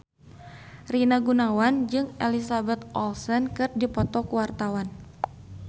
Rina Gunawan jeung Elizabeth Olsen keur dipoto ku wartawan